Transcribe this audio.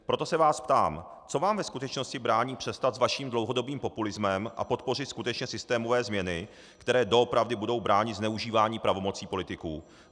Proto se vás ptám: Co vám ve skutečnosti brání přestat s vaším dlouhodobým populismem a podpořit skutečně systémové změny, které doopravdy budou bránit zneužívání pravomocí politiků?